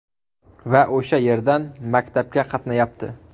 Va o‘sha yerdan maktabga qatnayapti.